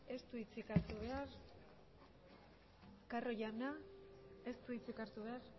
ez du hitzik hartu behar carro jauna ez du hitzik hartu behar